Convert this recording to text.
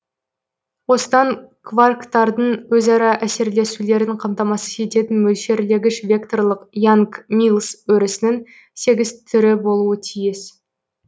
осыдан кварктардың өзара әсерлесулерін қамтамасыз ететін мөлшерлегіш векторлық янг миллс өрісінің сегіз түрі болуы тиіс